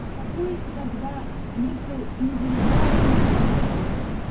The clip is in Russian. а какой тогда смысл индивидуальной работы